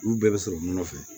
Olu bɛɛ bɛ sɔrɔ nɔnɔ fɛ